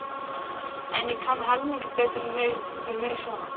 En ég kann helmingi betur við mig svona.